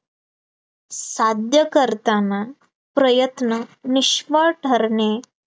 साध्य करताना प्रयत्न निष्फळ ठरणे